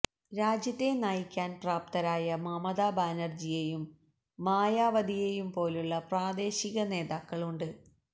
രാജ്യത്തെ നയിക്കാന് പ്രാപ്തരായ മമത ബാനര്ജിയേയും മായാവതിയേയും പോലുള്ള പ്രാദേശിക നേതാക്കളുണ്ട്